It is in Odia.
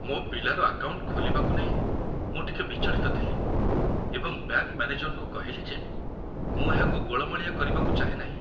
ମୋ ପିଲାର ଆକାଉଣ୍ଟ ଖୋଲିବାକୁ ନେଇ ମୁଁ ଟିକେ ବିଚଳିତ ଥିଲି ଏବଂ ବ୍ୟାଙ୍କ ମ୍ୟାନେଜରଙ୍କୁ କହିଲି ଯେ ମୁଁ ଏହାକୁ ଗୋଳମାଳିଆ କରିବାକୁ ଚାହେଁ ନାହିଁ।